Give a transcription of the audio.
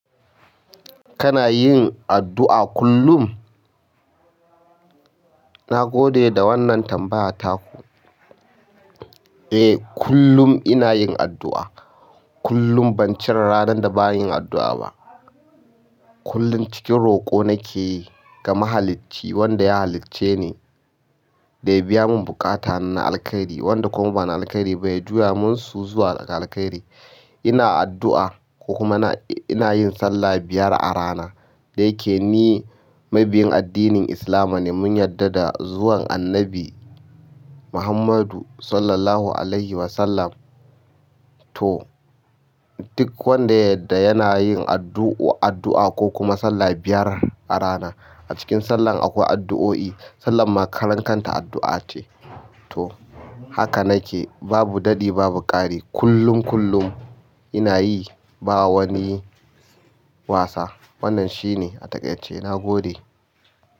Kana yin addu'a kullum? Na gode da wannan tambaya taku. Eh, kullum ina yin addu'a. Kullum ban cire ranan da ba yin addu'a ba. Kullum cikin roƙo nake yi ga mahalici wanda ya halicce ni da ya biya mun bukatani na alkhairi wanda kuma bana alkhairi ba ya juya mun su zuwa alkhairi. Ina addu'a ko kuma ina yin sallah biyar a rana. Da yake ni mabiyin addinin Islama ne mun yadda da zuwan Annabi Muhammadu Sallallahu Alaihi Wasallam. To, duk wanda yadda yana yin addu'a ko kuma sallah biyar a rana. A cikin sallan akwai addu'o'i. Sallah ma karen kanta addu'a ce. To, haka nake babu daɗi babu ƙari. Kullum, kullum ina yi ba wani wasa. Wannan shi ne a taƙaice. Na gode.